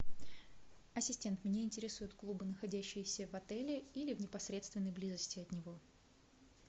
ассистент меня интересуют клубы находящиеся в отеле или в непосредственной близости от него